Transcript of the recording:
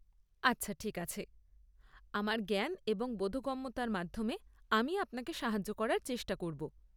আচ্ছা, ঠিক আছে। আমার জ্ঞান এবং বোধগম্যতার মাধ্যমে আমি আপনাকে সাহায্য করার চেষ্টা করব।